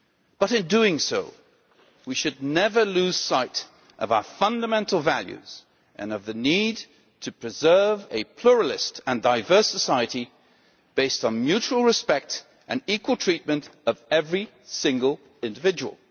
But in doing so, we should never lose sight of our fundamental values and of the need to preserve a pluralistic and diverse society based on mutual respect and equal treatment of every single individual.